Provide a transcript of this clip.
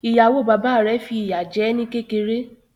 Ìyàwó bàbá rẹ̀ fi ìyá jẹ́ ní kékeré.